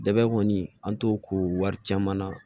Dɛgɛ kɔni an t'o ko wari caman na